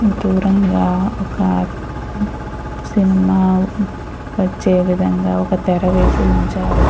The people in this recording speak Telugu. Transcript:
దూరంగా ఒక సినిమా వచ్చే విధంగా ఒక తెర వేసి ఉంచారు.